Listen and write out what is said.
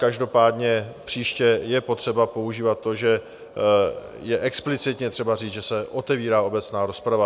Každopádně příště je potřeba používat to, že je explicitně třeba říct, že se otevírá obecná rozprava.